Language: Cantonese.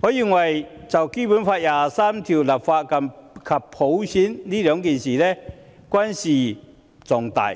我認為就《基本法》第二十三條立法及推行普選均事關重大，